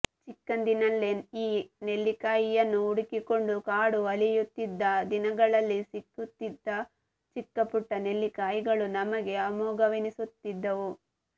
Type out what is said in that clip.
ಚಿಕ್ಕಂದಿನಲ್ಲಿ ಈ ನೆಲ್ಲಿಕಾಯಿಯನ್ನು ಹುಡುಕಿಕೊಂಡು ಕಾಡು ಅಲೆಯುತ್ತಿದ್ದ ದಿನಗಳಲ್ಲಿ ಸಿಗುತ್ತಿದ್ದ ಚಿಕ್ಕಪುಟ್ಟ ನೆಲ್ಲಿಕಾಯಿಗಳೂ ನಮಗೆ ಅಮೋಘವೆನಿಸುತ್ತಿದ್ದವು